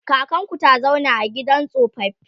kakanku ta zauna a gidan tsofaffi?